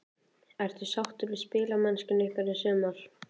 Ertu sáttur við spilamennsku ykkar í sumar?